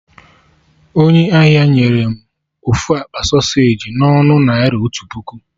Onye ahịa nyere m ofu akpa sọseji na ọnụ naira otu puku